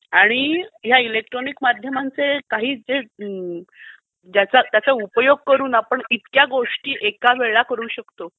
आणि या इलेक्ट्रॉनिक माध्यमांचे काही जे त्या चा उपयोग करून आपण इतक्या गोष्टी एका वेळी करू शकतो,